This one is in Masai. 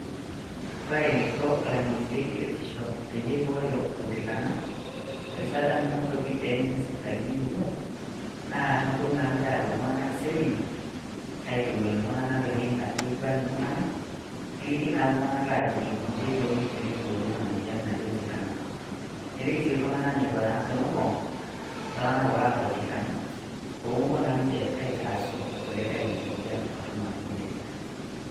kore eniko ilang'eni lebiotisho peyie eibooyo oltikana erishata nainotoki tenena sipitalini emurua naa noponu naa ninche apik iltung'anak seminar aitowuan iltung'anak neiguan iltung'anak neliki naa iltung'anak ajoki inji ekoni teniboori ena moyian naji oltikana neliki sii iltung'anak neiko naa tenopong iltung'anak oota oltikana pomopuo naa ninche aitarasu irkulikae ina moyian torrono naji nejia.